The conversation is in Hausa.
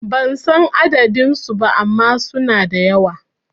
Ban san adadin su ba ama suna da yawa